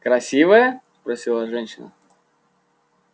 красивая спросила женщина